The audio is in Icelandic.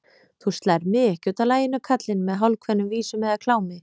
Þú slærð mig ekki útaf laginu, kallinn, með hálfkveðnum vísum eða klámi.